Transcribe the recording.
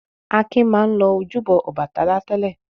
Akin máa ń lọ ojúbọ Ọbàtálá tẹ́lẹ̀.